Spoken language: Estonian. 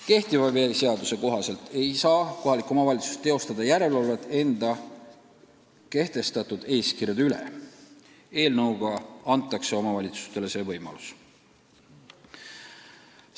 Praegu ei saa kohalik omavalitsus teostada järelevalvet enda kehtestatud eeskirjade täitmise üle, eelnõu kohaselt see võimalus antakse.